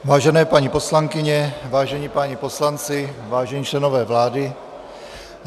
Vážené paní poslankyně, vážení páni poslanci, vážení členové vlády.